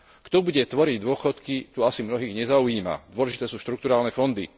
Kto bude tvoriť dôchodky, to asi mnohých nezaujíma, dôležité sú štrukturálne fondy.